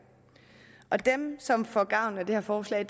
dem som får gavn af det her forslag